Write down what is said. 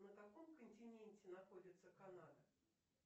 на каком континенте находится канада